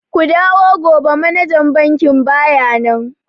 Ku dawo gobe manajan bankin baya nan.